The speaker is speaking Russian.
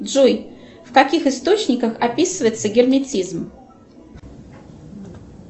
джой в каких источниках описывается герметизм